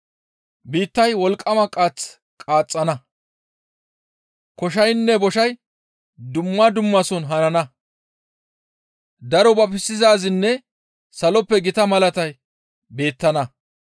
Biittay wolqqama qaath qaaxxana; koshaynne boshay dumma dummason hanana; daro babisizaazinne saloppe gita malatay beettana.